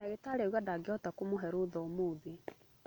Ndagĩtarĩ auga ndangĩhota kũmũhe rũtha ũmũthĩ